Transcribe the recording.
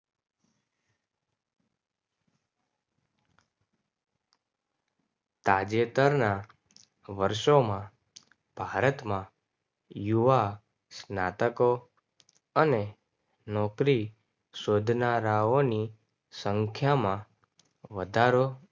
તાજેતરના વર્ષોમાં ભારતમાં યુવા નાટકો અને નોકરી શોધનારાઓની સંખ્યા માં વધારો